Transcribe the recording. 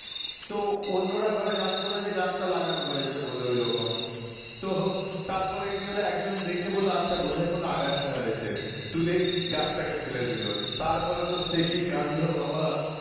তো অন্যরা ঘরে জানতো না যে গাছটা লাগানো হয়েছে বলে ওরকম তো তারপরে কি হলো একজন দেখে বলল আচ্ছা বোধ হয় কোন আগাছা হয়েছে তুলেই গাছটাকে ফেলে দিল তারপরে তো সে কি কাণ্ড বাবা